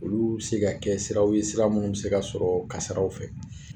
Olu se ka kɛ siraw ye sira munnu bi se ka sɔrɔ kasaraw fɛ.